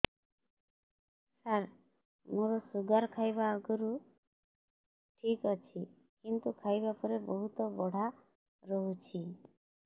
ସାର ମୋର ଶୁଗାର ଖାଇବା ଆଗରୁ ଠିକ ଅଛି କିନ୍ତୁ ଖାଇବା ପରେ ବହୁତ ବଢ଼ା ରହୁଛି